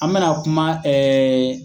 An mɛna kuma